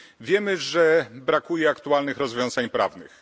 Wiemy, że brakuje aktualnych rozwiązań prawnych.